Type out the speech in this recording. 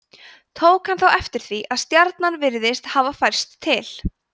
tók hann þá eftir því að stjarnan virtist hafa færst til